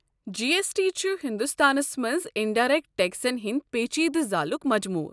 جی S T چھُ ہندوستانس منٛز انڈایرٮ۪کٹ ٹٮ۪کسن ہٕنٛدِ پیٖچیٖدٕ زالُک مجموٗعہٕ۔